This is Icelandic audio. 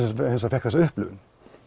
fékk þessa upplifun